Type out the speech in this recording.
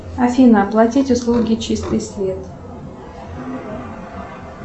афина оплатить услуги чистый свет